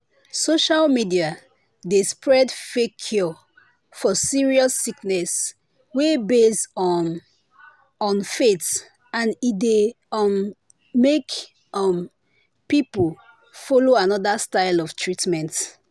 social media dey spread fake cure for serious sickness wey base um on faith and e dey um make um people follow another style of treatment.”